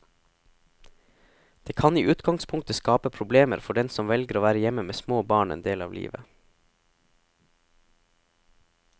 Det kan i utgangspunktet skape problemer for den som velger å være hjemme med små barn en del av livet.